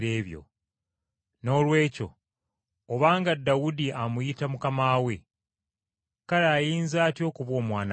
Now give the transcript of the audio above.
Noolwekyo obanga Dawudi amuyita Mukama we, kale ayinza atya okuba omwana we?”